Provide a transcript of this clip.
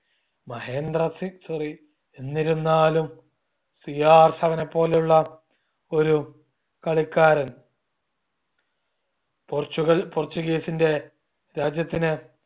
Mahendra Singh sorry എന്നിരുന്നാലും CR7 എ പോലുള്ള ഒരു കളിക്കാരൻ പോർച്ചുഗൽ Portuguese ന്റെ രാജ്യത്തിന്